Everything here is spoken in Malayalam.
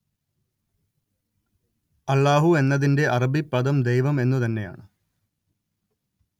അല്ലാഹു എന്നതിന്റെ അറബി പദം ദൈവം എന്നു തന്നെയാണ്